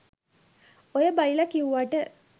ඔය බයිලා කිව්වාට